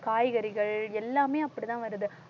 காய்கறிகள் எல்லாமே அப்படிதான் வருது